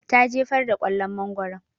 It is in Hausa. Ta jefar da kwallon mangoron